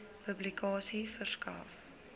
publikasie verskaf